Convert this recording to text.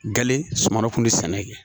Gale suman kun tɛ sɛnɛ kɛ